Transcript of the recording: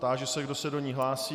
Táži se, kdo se do ní hlásí.